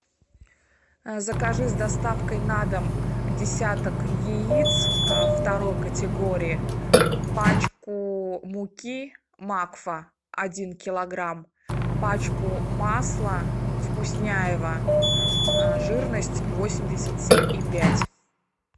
закажи с доставкой на дом десяток яиц второй категории пачку муки макфа один килограмм пачку масла вкусняево жирность восемьдесят семь и пять